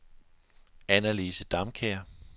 Annalise Damkjær